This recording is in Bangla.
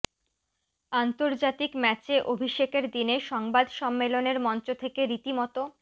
আন্তর্জাতিক ম্যাচে অভিষেকের দিনে সংবাদ সম্মেলনের মঞ্চ থেকে রীতিমতো